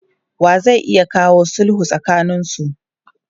Wa zai iya kawo sulhu tsakaninsu?